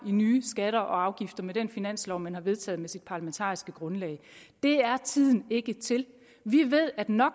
i nye skatter og afgifter med den finanslov man har vedtaget med sit parlamentariske grundlag det er tiden ikke til vi ved at no